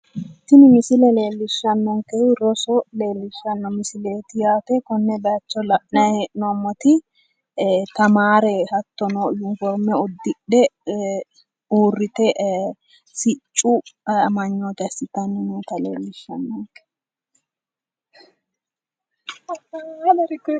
Tini misile leelishanonikehu roso leelishanno misileet yaate konne baayicho la'nay he'nomot tamaare hattono uniforime uddidhe uurite siccu amaynoote assitanni noota leelishanonike